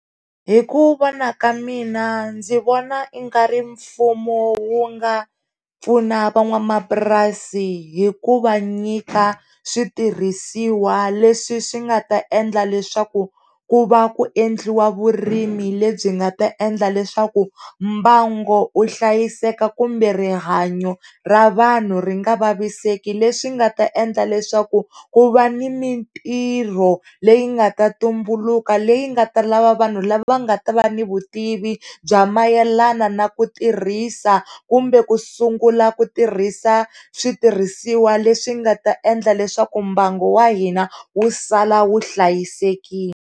Hi ku vona ka mina ndzi vona i nga ri mfumo wu nga pfuna van'wamapurasini hi ku va nyika switirhisiwa leswi swi nga ta endla leswaku ku va ku endliwa vurimi lebyi nga ta endla leswaku mbangu wu hlayiseka kumbe rihanyo ra vanhu ri nga vaviseki leswi nga ta endla leswaku ku va ni mintirho leyi nga ta tumbuluka leyi nga ta lava vanhu lava nga ta va ni vutivi bya mayelana na ku tirhisa kumbe ku sungula ku tirhisa switirhisiwa leswi nga ta endla leswaku mbangu wa hina wu sala wu hlayisekile.